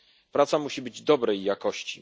Praca musi być dobrej jakości.